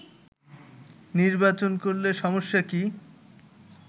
নির্বাচন করলে সমস্যা কি